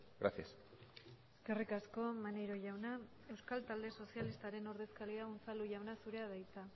gracias eskerrik asko maneiro jauna euskal talde sozialistaren ordezkaria unzalu jauna zurea da hitza